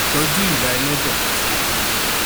Ìtọ́jú ìya ẹlẹ́dẹ̀ àti àwọn ọmọ rẹ̀.